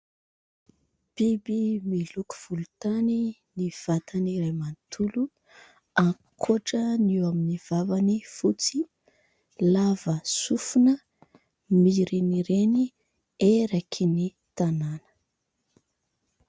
Biby miloko volontany ny vatany iray manontolo ankoatra ny eo aminy vavany fotsy. Lava sofina, mirenireny eraky ny tanana